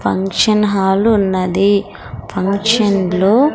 function hall ఉన్నది function లో--